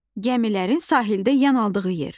Gəmilərin sahildə yan aldığı yer.